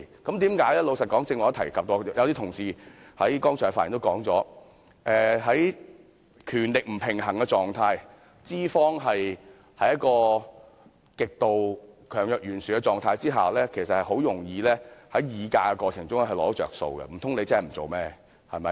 老實說，正如我剛才也提及，而一些同事剛才發言時也說過，在權力不平衝的情況下，資方在一個極度強弱懸殊的狀態下，其實很容易在議價過程中"找着數"，難道工人可以不幹活嗎？